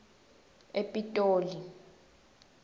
epitoli